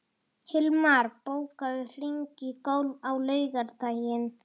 Hilmar, bókaðu hring í golf á laugardaginn.